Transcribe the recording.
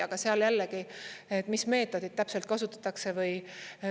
Aga seal jällegi: mis meetodit täpselt kasutatakse?